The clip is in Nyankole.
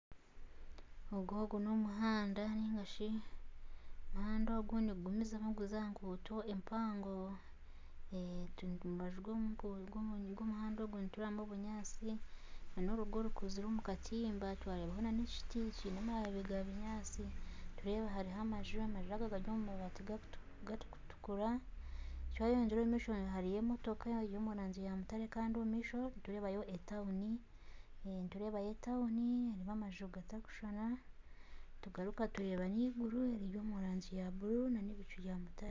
Ogu n'omuhanda kandi omuhanda ogu nigugumizamu guza aha nguuto empango harimu obunyaatsi nana orugo rukuzire omu katimba hariho nana ekiti kiine amababi ga kinyaatsi hariho amaju amaju aga gari omu rangi erikutukura ,twayeyongyera omu maisho hariyo emotoka eri omu rangi ya mutare Kandi omu maisho nitureebayo etauni erimu amaju gatarikushushana tugaruka tureeba eiguru eriri omu rangi ya bururu nana ebicu bya mutare